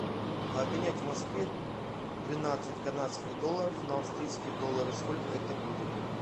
обменять в москве двенадцать канадских долларов на австрийские доллары сколько это будет